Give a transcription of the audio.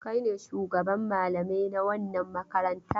Kai ne shugaban malamai na wannan makaranta?